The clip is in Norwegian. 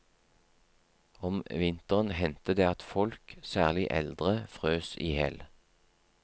Om vinteren hendte det at folk, særlig eldre, frøs ihjel.